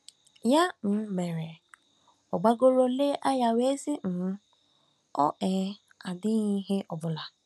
Ya um mere, ọ gbagooro lee anya wee sị um: ‘Ọ um dịghị ihe ọ bụla. '